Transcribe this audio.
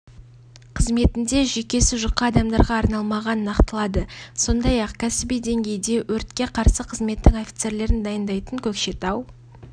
қызметінде жүйкесі жұқа адамдарға арналмаған нақтылады сондай-ақ кәсіби деңгейде өртке қарсы қызметтің офицерлерін дайындайтын көкшетау